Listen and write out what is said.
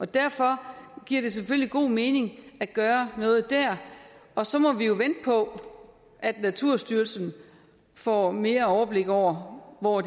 derfor giver det selvfølgelig god mening at gøre noget der og så må vi jo vente på at naturstyrelsen får mere overblik over hvor